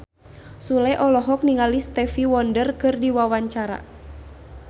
Sule olohok ningali Stevie Wonder keur diwawancara